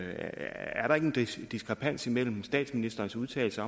er der ikke en diskrepans mellem statsministerens udtalelse